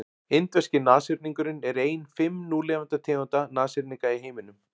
indverski nashyrningurinn er ein fimm núlifandi tegunda nashyrninga í heiminum